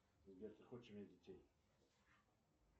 сбер ты хочешь иметь детей